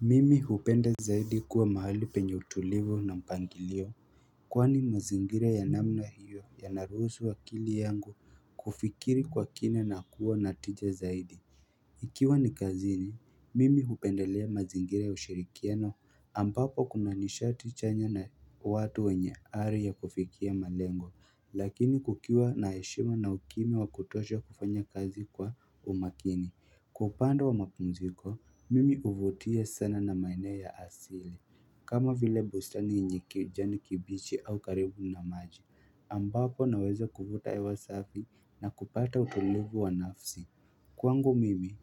Mimi hupenda zaidi kuwa mahali penye utulivu na mpangilio Kwani mazingira ya namna hiyo ya narusu akili yangu kufikiri kwa kina na kuwa natija zaidi Ikiwa ni kazini mimi hupendelea mazingira ya ushirikiano ambapo kuna nishati chanya na watu wenye hali ya kufikia malengo Lakini kukiwa na heshima na hukimi wakutosha kufanya kazi kwa umakini Kwa upande wa mapumziko, mimi huvutiwa sana na maeneo ya asili. Kama vile bustani yenye kijani kibichi au karibu na maji. Ambapo naweza kuvuta hewa safi na kupata utulivu wa nafsi. Kwangu mimi